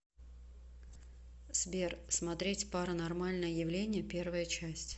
сбер смотреть паранормальное явление первая часть